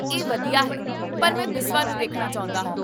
ਇਹ ਵਧੀਆ ਹੈ, ਪਰ ਮੈਂ ਬਿਸਵਾ ਨੂੰ ਦੇਖਣਾ ਚਾਹੁੰਦਾ ਹਾਂ